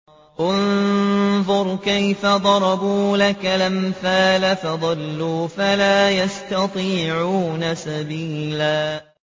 انظُرْ كَيْفَ ضَرَبُوا لَكَ الْأَمْثَالَ فَضَلُّوا فَلَا يَسْتَطِيعُونَ سَبِيلًا